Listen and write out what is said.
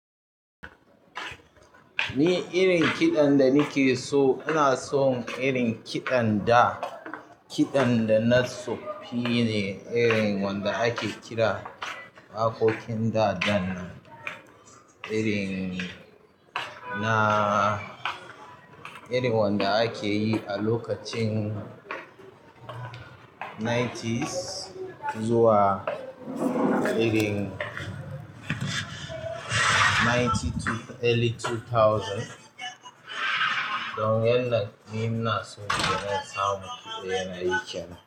Ni irin kiɗan da nake so, ina son irin kiɗan da, kiɗan da na tsofine, irin wanda ake kira waƙoƙin da, dan nan irin na, irin wanda akeyi a lokacin nineties zuwa irin nainti tu early tu tauzan. Don yanda ni ina so nake son kiɗa yana yi kenan.